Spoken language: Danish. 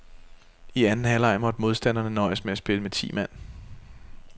I anden halvleg måtte modstanderne nøjes med at spille med ti mand.